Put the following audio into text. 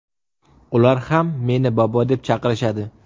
Ular ham meni bobo deb chaqirishadi.